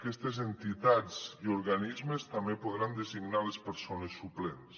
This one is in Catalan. aquestes entitats i organismes també en podran designar les persones suplents